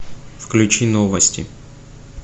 включи новости